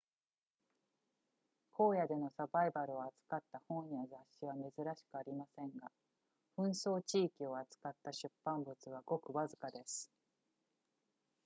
荒野でのサバイバルを扱った本や雑誌は珍しくありませんが紛争地域を扱った出版物はごくわずかです